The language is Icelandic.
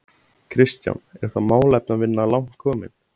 Kristján: Er þá málefnavinna langt komin?